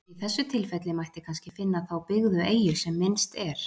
Í þessu tilfelli mætti kannski finna þá byggðu eyju sem minnst er.